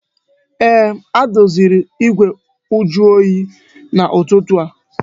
Ee, ha doziri igwe njuoyi n'ụtụtụ a